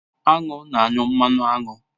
Aṅụ na-anyụ mmanụ aṅụ.